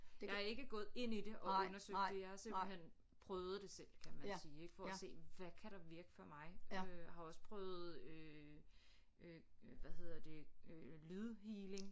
Jeg er ikke gået ind i det og undersøgt det jeg har simpelthen prøvet det selv kan man sige ik for at se hvad kan der virke for mig øh har også prøvet øh øh hvad hedder det øh lydhealing